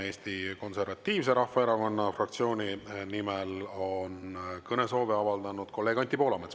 Eesti Konservatiivse Rahvaerakonna fraktsiooni nimel on kõnesoovi avaldanud kolleeg Anti Poolamets.